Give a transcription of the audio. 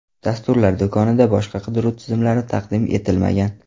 Dasturlar do‘konida boshqa qidiruv tizimlari taqdim etilmagan.